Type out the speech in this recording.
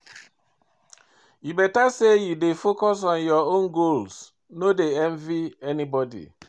E beta as you dey try focus on your own goals, no dey envy anybodi.